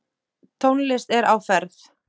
Tónlist er á ferð.